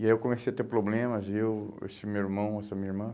E aí eu comecei a ter problemas, eu, esse meu irmão, essa minha irmã.